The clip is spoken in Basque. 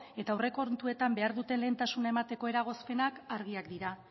eta aurrekontuetan behar duten lehentasuna emateko eragozpenak argiak dira